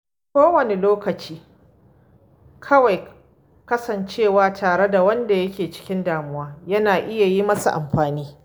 Wani lokaci; kawai kasancewa tare da wanda yake cikin damuwa yana iya yi masa amfani.